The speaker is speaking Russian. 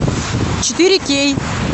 четыре кей